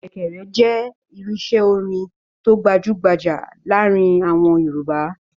Ṣẹ̀kẹ̀rẹ̀ jẹ́ irinṣẹ́ orin tó gbajú-gbajà láàárin àwọn Yorùbá.